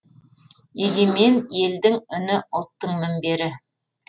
егемен елдің үні ұлттың мінбері